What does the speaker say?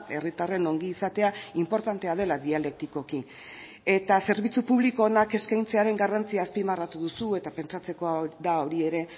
herritarren ongizatea inportantea dela dialektikoki eta zerbitzu publiko onak eskaintzearen garrantzia azpimarratu duzu eta pentsatzekoa da hori ere